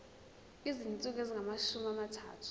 izinsuku ezingamashumi amathathu